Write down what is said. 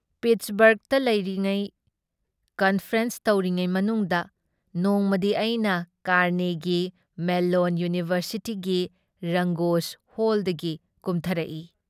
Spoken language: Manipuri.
ꯄꯤꯠꯁꯕꯔꯒꯇ ꯂꯩꯔꯤꯉꯩ ꯀꯟꯐꯔꯦꯟꯁ ꯇꯧꯔꯤꯉꯩ ꯃꯅꯨꯡꯗ ꯅꯣꯡꯃꯗꯤ ꯑꯩꯅ ꯀꯥꯔꯅꯦꯒꯤ ꯃꯦꯜꯂꯣꯟ ꯏꯌꯨꯅꯤꯚꯔꯁꯤꯇꯤꯒꯤ ꯔꯪꯒꯣꯖ ꯍꯣꯜꯗꯒꯤ ꯀꯨꯝꯊꯔꯛꯏ ꯫